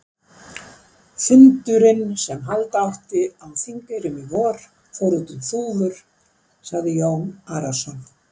Fundurinn sem halda átti á Þingeyrum í vor, fór út um þúfur, sagði Jón Arason.